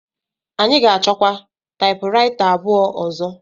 Anyị ga-achọkwa taịpụraịta abụọ ọzọ.